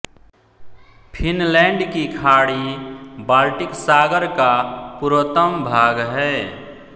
Finland की खाड़ी Baltic सागर का पूर्वतम भाग है